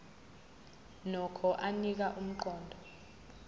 nokho anika umqondo